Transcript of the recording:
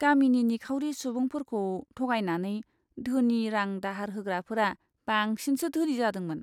गामिनि निखावरि सुबुंफोरखौ थगायनानै धोनि रां दाहार होग्राफोरा बांसिनसो धोनि जादोंमोन!